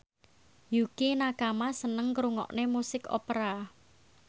Yukie Nakama seneng ngrungokne musik opera